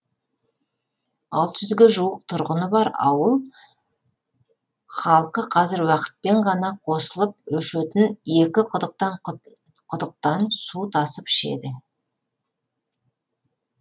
алты жүзге жуық тұрғыны бар ауыл халқы қазір уақытпен ғана қосылып өшетін екі құдықтан құдықтан су тасып ішеді